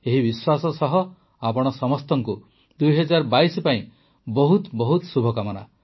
ଏହି ବିଶ୍ୱାସ ସହ ଆପଣ ସମସ୍ତଙ୍କୁ ୨୦୨୨ ପାଇଁ ବହୁତ ଶୁଭକାମନା